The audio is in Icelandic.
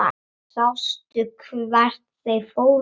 Sástu hvert þeir fóru?